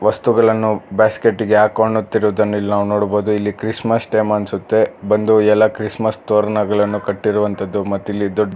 ವಸ್ತುಗಳನ್ನು ಬ್ಯಾಸ್ಕೆಟ್ ಗೆ ಹಾಕೊಳ್ಳುತ್ತಿರುವುದನ್ನು ಇಲ್ಲಿ ನಾವು ನೋಡಬಹುದು ಇಲ್ಲಿ ಕ್ರಿಸ್ಮಸ್ ಟೈಮ್ ಅನ್ಸುತ್ತೆ ಬಂದು ಎಲ್ಲ ಕ್ರಿಸ್ಮಸ್ ತೋರಣಗಳನ್ನು ಕಟ್ಟಿರುವಂಥದ್ದು ಮತ್ತು ಇಲ್ಲಿ ದೊಡ್--